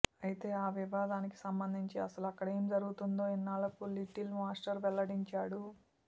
అయితే ఆ వివాదానికి సంబంధించి అసలు అక్కడ ఏం జరిగిందో ఇన్నాళ్లకు లిటిల్ మాస్టర్ వెల్లడించాడు